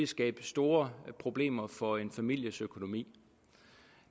skabe store problemer for en families økonomi